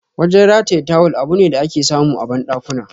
Wajen rataye tawul, abune da ake samu a bandakuna.